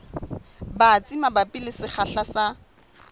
batsi mabapi le sekgahla sa